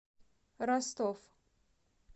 ростов